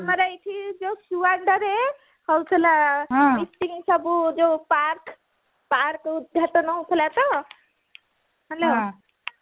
ଆମର ଏଇଠି ଯୋଉ ସୁଆଣ୍ଡୋରେ ହଉଥିଲା meeting ସବୁ ଯୋଉ park park ଉଦଘାଟନ ହଉଥିଲା ତ hello